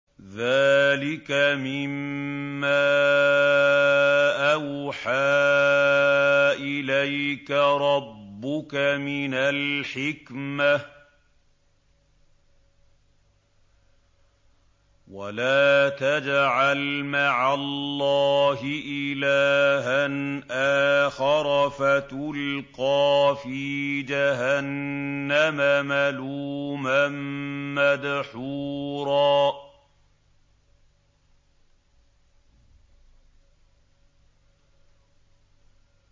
ذَٰلِكَ مِمَّا أَوْحَىٰ إِلَيْكَ رَبُّكَ مِنَ الْحِكْمَةِ ۗ وَلَا تَجْعَلْ مَعَ اللَّهِ إِلَٰهًا آخَرَ فَتُلْقَىٰ فِي جَهَنَّمَ مَلُومًا مَّدْحُورًا